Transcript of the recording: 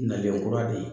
Nalen kura de ye